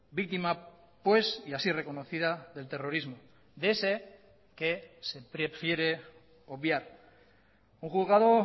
víctima pues y así reconocida del terrorismo de ese que se prefiere obviar un juzgado